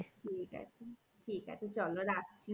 ঠিক আছে ঠিক আছে চলো রাখছি